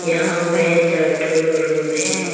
यहां में चार ठो रूम है।